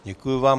Děkuji vám.